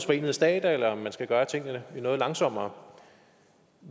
forenede stater eller om man skal gøre tingene noget langsommere